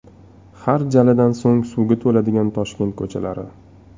Har jaladan so‘ng suvga to‘ladigan Toshkent ko‘chalari .